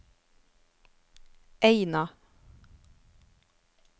Eina